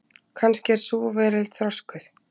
Kannski er sú veröld þroskuð.